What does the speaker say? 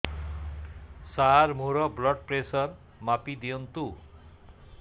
ସାର ମୋର blood pressure ମାପି ଦିଅନ୍ତୁ